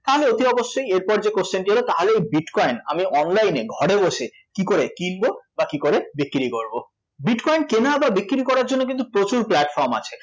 তাহলে অতি অবশ্যই এরপর যে question টি এল তাহলে এই bitcoin আমি oniline এ ঘরে বসে কী করে কিনব বা কী করে বিক্রী করব? bitcoin কেনা বা বিক্রী করার জন্য কিন্তু প্রচুর platform আছে